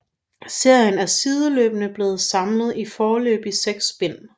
Serien er sideløbende blevet samlet i foreløbig 6 bind